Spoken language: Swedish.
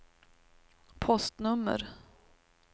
postnummer